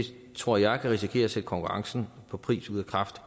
tror jeg kan risikere at sætte konkurrencen på pris ud af kraft